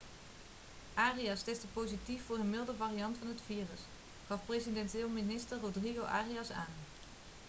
arias testte positief voor een milde variant van het virus gaf presidentieel minister rodrigo arias aan